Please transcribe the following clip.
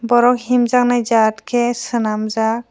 borok hemjaknai jaat ke sanam jaak.